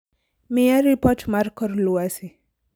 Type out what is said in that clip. miya ripot mar kor lwasi